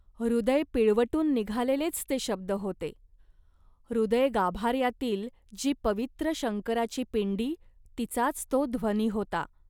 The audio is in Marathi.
हृदय पिळवटून निघालेलेच ते शब्द होते. हृदयगाभार्यातील जी पवित्र शंकराची पिंडी, तिचाच तो ध्वनी होता